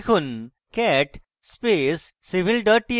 লিখুন cat space civil txt